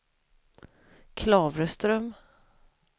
Klavreström